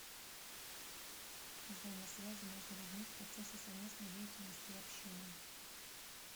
взаимосвязи между людьми в процессе совместной деятельности и общения